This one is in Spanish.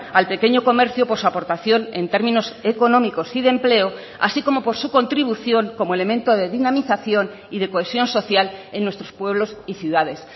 al pequeño comercio por su aportación en términos económicos y de empleo así como por su contribución como elemento de dinamización y de cohesión social en nuestros pueblos y ciudades